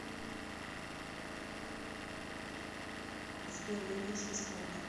сбер вернись в исходное